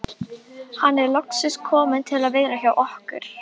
Það höfðu menn fengið að reyna á litla kolaskipinu